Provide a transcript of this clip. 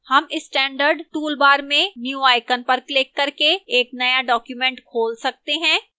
हम standard toolbar में new icon पर क्लिक करके एक नया document खोल सकते हैं